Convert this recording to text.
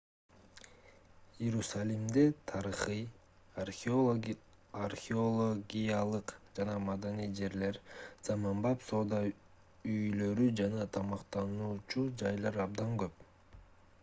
иерусалимде тарыхый археологиялык жана маданий жерлер заманбап соода үйлөрү жана тамактануучу жайлар абдан көп